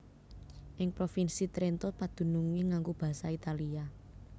Ing Provinsi Trento padunungé nganggo basa Italia